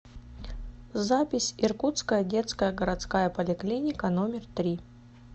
запись иркутская детская городская поликлиника номер три